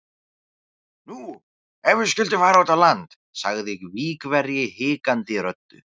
Nú, ef við skyldum fara út á land? sagði Víkverji hikandi röddu.